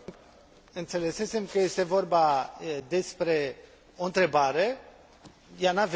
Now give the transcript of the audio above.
Înțelesesem că este vorba despre o întrebare, ea nu a venit.